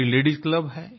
हमारी ladies club है